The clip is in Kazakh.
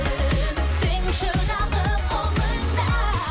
үміттің шырағы қолыңда